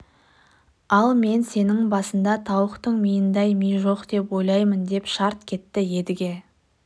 ал мен сенің басыңда тауықтың миындай ми жоқ деп ойлаймын деп шарт кетті едіге